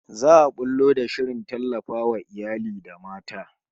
Za'a bullo da shirin tallafawa iyali da mata